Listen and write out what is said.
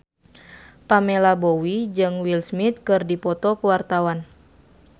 Pamela Bowie jeung Will Smith keur dipoto ku wartawan